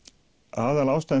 aðalástæðan